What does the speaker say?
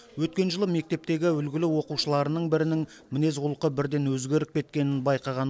өткен жылы мектептегі үлгілі оқушыларының бірінің мінез құлқы бірден өзгеріп кеткенін байқаған